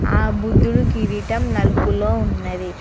ఆ బుద్ధుడి కిరీటం నలుపులో ఉన్నది.